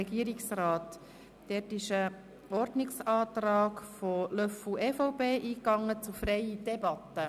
Löffel-Wenger hat einen Ordnungsantrag auf freie Debatte eingereicht.